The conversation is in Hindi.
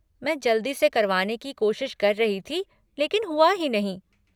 मैं जल्दी से करवाने की कोशिश कर रही थी लेकिन हुआ ही नहीं।